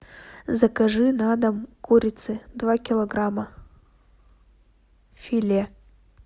закажи на дом курицы два килограмма филе